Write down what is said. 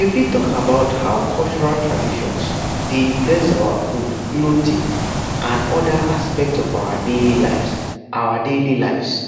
you fit talk about how cultural traditions dey influence our food clothing and oda aspects of our daily lives our daily lives